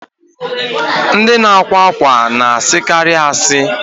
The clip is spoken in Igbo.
Ndị na-akwa ákwà na-asịkarị asị